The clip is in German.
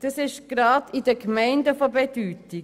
Das ist gerade in den Gemeinden von Bedeutung.